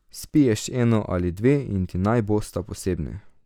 Spiješ eno ali dve in ti naj bosta posebni.